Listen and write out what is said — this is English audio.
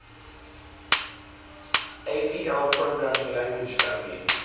apl programming language family